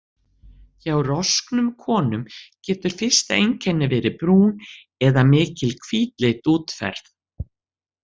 Hjá rosknum konum getur fyrsta einkennið verið brún eða mikil hvítleit útferð.